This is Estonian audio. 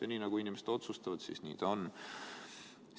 Ja nii, nagu inimesed otsustavad, nii on.